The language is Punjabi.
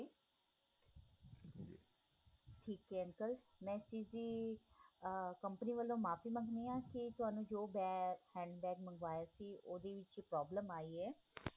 ਠੀਕ ਏ uncle ਮੈ ਇਸ ਚੀਜ ਦੀ ਆਹ ਕੰਪਨੀ ਵੱਲੋ ਮਾਫ਼ੀ ਮੰਗਦੀ ਹਾਂ ਕਿ ਤੁਹਾਨੂੰ ਜੋ bag hand bag ਮੰਗਵਾਇਆ ਸੀ ਉਹਦੇ ਵਿੱਚ problem ਆਈ ਏ